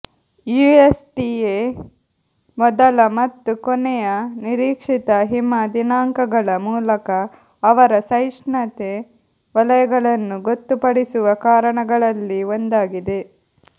USDA ಮೊದಲ ಮತ್ತು ಕೊನೆಯ ನಿರೀಕ್ಷಿತ ಹಿಮ ದಿನಾಂಕಗಳ ಮೂಲಕ ಅವರ ಸಹಿಷ್ಣುತೆ ವಲಯಗಳನ್ನು ಗೊತ್ತುಪಡಿಸುವ ಕಾರಣಗಳಲ್ಲಿ ಒಂದಾಗಿದೆ